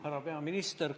Härra peaminister!